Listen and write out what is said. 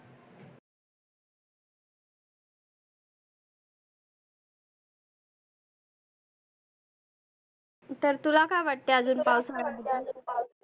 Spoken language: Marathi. तुला काय वाटते आजुन पावसाळ्या,